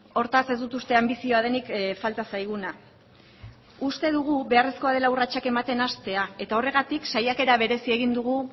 hortaz ez dut uste anbizioa denik falta zaiguna uste dugu beharrezkoa dela urratsak ematen hastea eta horregatik saiakera berezia egin dugu